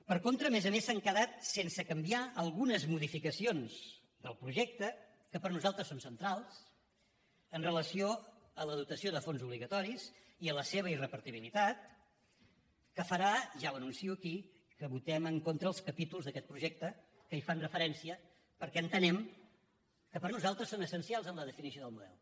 per contra a més a més s’han quedat sense canviar algunes modificacions del projecte que per nosaltres són centrals amb relació a la dotació de fons obligatoris i a la seva irrepartibilitat que farà ja ho anuncio aquí que votem en contra els capítols d’aquest projecte que hi fan referència perquè entenem que per nosaltres són essencials en la definició del model